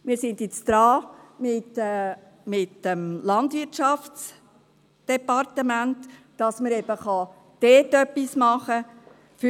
Wir sind jetzt mit dem Bundesamt für Landwirtschaft (BLW) daran, dass man eben dort etwas machen kann.